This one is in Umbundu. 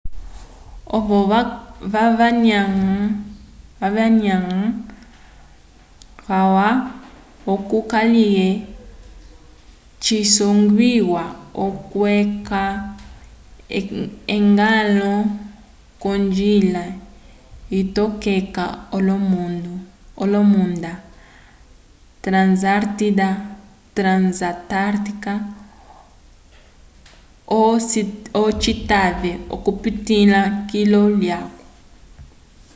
ovo vanyanga calwa oco kaliye ciyongwiwa okweca eñgwãlo k'onjila itokeka olomunda transatártica oco citave okupitĩla kilu lyaco